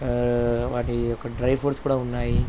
ఆ వాటి యొక్క డ్రై ఫ్రూట్స్ కూడా ఉన్నాయి.